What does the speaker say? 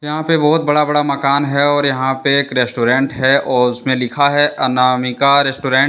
यहां पे बहोत बड़ा बड़ा मकान है और यहां पे एक रेस्टोरेंट है और उसमें लिखा है अनामिका रेस्टोरेंट ।